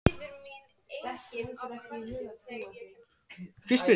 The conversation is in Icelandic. Fótboltaleikir og jafnvel handboltaleikir Besta bíómyndin?